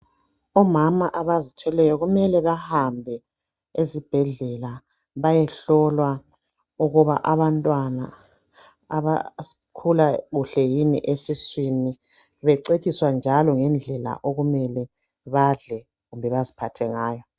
Omama abazithweleyo kumele bahambe ezibhedlela bayehlolwa ukuba abantwana basakhula kuhle yini esiswini becetshiswa njalo ngendlela okumele badle kumbe baziphathe ngayo.